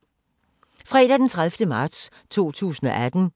Fredag d. 30. marts 2018